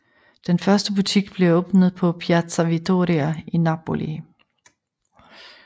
Den første butik blev åbnet på Piazza Vittoria i Napoli